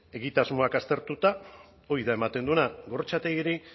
egitasmoak aztertu hori da ematen duena gorrotxategiri